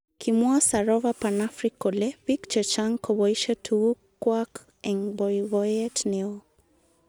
Kimwa Sarofa panafric kole bik chechang koboishe tukuk. kwaak eng boiboyet neo .